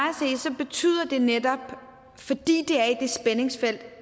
at se betyder det netop fordi det er i det spændingsfelt